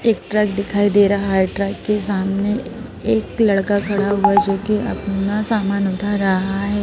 एक ट्रक दिखाई दे रहा है ट्रक के सामने एक लड़का खड़ा हुआ है जो कि अपना सामान उठा रहा है।